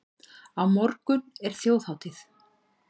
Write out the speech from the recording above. Á morgun er þjóðhátíð.